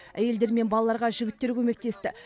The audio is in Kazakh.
әйелдер мен балаларға жігіттер көмектесті